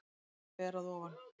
Hún var ber að ofan.